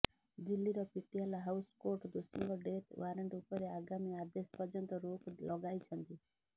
ଦିଲ୍ଲୀର Patiala house court ଦୋଷୀଙ୍କ death warrant ଉପରେ ଆଗାମୀ ଆଦେଶ ପର୍ଯ୍ୟନ୍ତ ରୋକ୍ ଲଗାଇଛନ୍ତି